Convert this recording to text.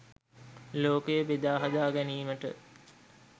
ලෝකය බෙදා හදා ගැනීමට